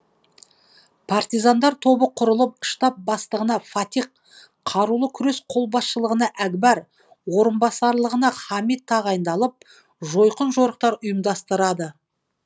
партизандар тобы құрылып штаб бастығына фатих қарулы күрес қолбасшылығына әкбар орынбасарлығына хамит тағайындалып жойқын жорықтар ұйымдастырады